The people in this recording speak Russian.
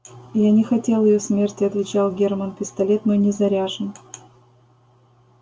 я не хотел её смерти отвечал германн пистолет мой не заряжен